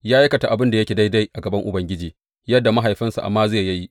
Ya aikata abin da yake daidai a gaban Ubangiji, yadda mahaifinsa Amaziya ya yi.